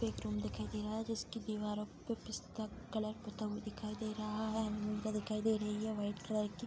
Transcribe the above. एक रूम दिखाई दे रहा है जिसके दीवारों पे पिस्ता कलर पोता हुआ दिखाई दे रहा है अलमीरा दिखाई दे रही है व्हाइट कलर की।